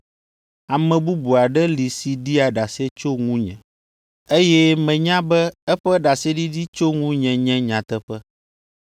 Ame bubu aɖe li si ɖia ɖase tso ŋunye, eye menya be eƒe ɖaseɖiɖi tso ŋunye nye nyateƒe.